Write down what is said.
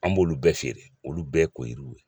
An b'olu bɛɛ feere, olu bɛɛ koyiriw ye.